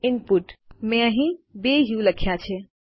input મેં અહીં 2 ઉ લખ્યા છે